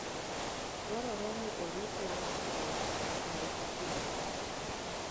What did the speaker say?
Dwarore ni orit langstroth kinde ka kinde.